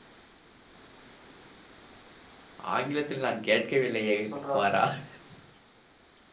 ஆங்கிலத்தில் நான் கேட்கவில்லையே குமாரா